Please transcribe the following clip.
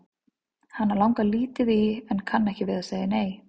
Hana langar lítið í en kann ekki við að segja nei.